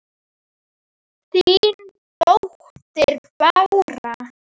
Þín dóttir Bára.